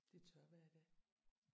Det er tørvejr i dag